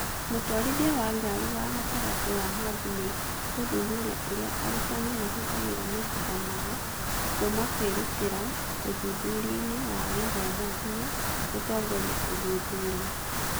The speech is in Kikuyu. mũtwarithia wa ngari wa gatagatĩ wa hub nĩ gũthuthuria ũrĩa arutani mahũthagĩra mahinda mao kuuma kwĩrutĩra ũthuthuria-inĩ wa gĩthomo nginya gũtongoria ũthuthuria